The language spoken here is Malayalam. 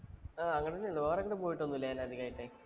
അങ്ങട് തന്നെയുള്ളൂ വേറെ എങ്ങട്ടും പോയിട്ടൊന്നുമില്ല ഞാനധികായിട്ടെ.